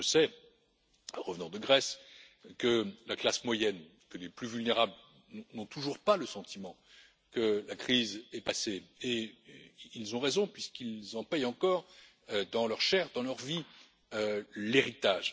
Je sais, en revenant de Grèce, que la classe moyenne et les plus vulnérables n'ont toujours pas le sentiment que la crise est passée et ils ont raison puisqu'ils en paient encore dans leur chair et dans leur vie l'héritage.